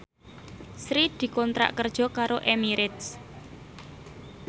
Sri dikontrak kerja karo Emirates